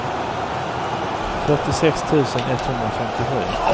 fyrtiosex tusen etthundrafemtiosju